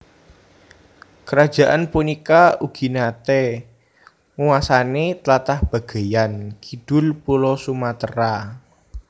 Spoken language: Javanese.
Kerajaan punika ugi naté nguwasani tlatah bagéyan kidul Pulo Sumatera